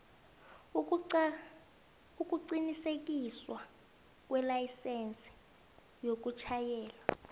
ukuqinisekiswa kwelayisense yokutjhayela